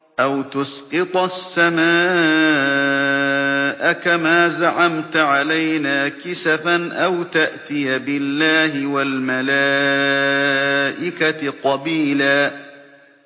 أَوْ تُسْقِطَ السَّمَاءَ كَمَا زَعَمْتَ عَلَيْنَا كِسَفًا أَوْ تَأْتِيَ بِاللَّهِ وَالْمَلَائِكَةِ قَبِيلًا